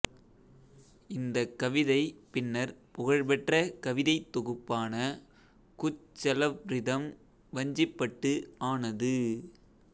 இந்தக் கவிதை பின்னர் புகழ்பெற்ற கவிதைத் தொகுப்பான குச்செலவ்ரிதம் வஞ்சிப்பட்டு ஆனது